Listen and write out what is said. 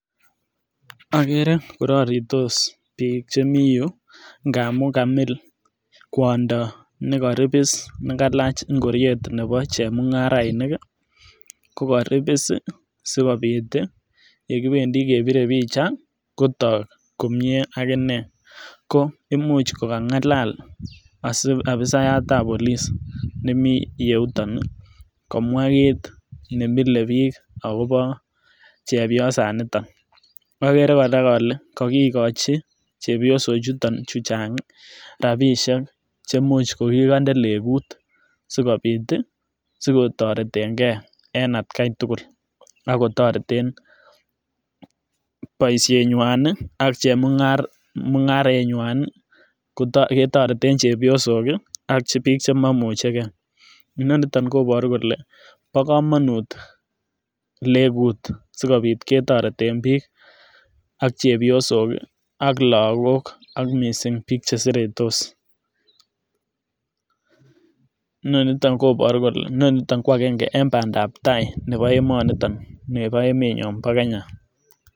Okere kororitos bik chemii yuu ngamun kamil kwondo nekoribis nekalach ingoriet nebo chemungarainik ko koribis sikobit tii yekibendii kebire pichaa kotok komie ak inee, ko imuch kokangalal ofisayat ab police nemii yuton kowaa kit nemile bik akobo chebiosan niton. Okere koraa ole kokikochi chepyosok chutok chuchang rabishek chemuch kokikonde lekut sikobit tii sikotoreten gee en atgai tukul ak kotoreten boishenywan nii ak chemunga mungarenywan nii ketoreten chebiosok kii ak bik chemomuche gee, inoniton kobore kole bo komonut legut sikobit ketoreten bik ak chepyosok kii ak lokok ak missing bik cheseretosNoniton koboru kole nonitin ko agenge en pandap tai nebo emoniton nebo emenyon bo kenya